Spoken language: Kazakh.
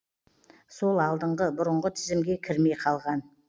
сол алдыңғы бұрынғы тізімге кірмей қалған